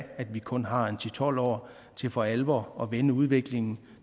at vi kun har ti til tolv år til for alvor at vende udviklingen